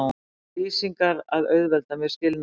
lýsingar að auðvelda mér skilnaðinn.